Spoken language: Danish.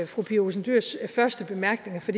fru pia olsen dyhrs første bemærkninger for